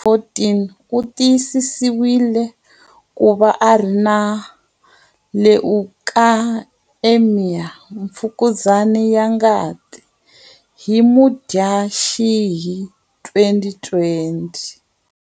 14, u tiyisisiwile ku va a ri na leukaemia, mfukuzani ya ngati, hi Mudyaxihi 2020.